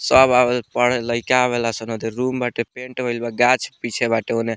सब आवेला पढ़े लइका आवेला सने दे रूम बाटे पेंट होइल बा गाछ पीछे बाटे ओने।